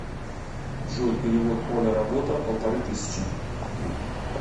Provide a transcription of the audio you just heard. джой перевод оля работа полторы тысячи